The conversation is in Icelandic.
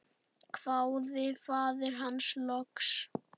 hváði faðir hans loks.